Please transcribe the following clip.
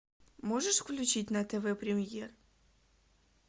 можешь включить на тв премьер